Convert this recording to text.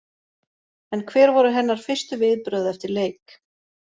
En hver voru hennar fyrstu viðbrögð eftir leik?